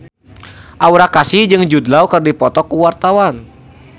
Aura Kasih jeung Jude Law keur dipoto ku wartawan